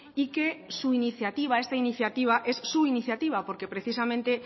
y que su iniciativa esta iniciativa es su iniciativa porque precisamente